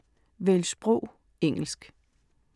Vælg sprog: engelsk